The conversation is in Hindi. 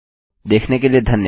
देखने के लिए धन्यवाद